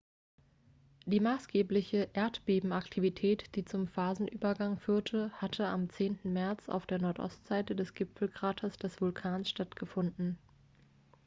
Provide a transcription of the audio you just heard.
die maßgebliche erdbebenaktivität die zum phasenübergang führte hatte am 10. märz auf der nordostseite des gipfelkraters des vulkans stattgefunden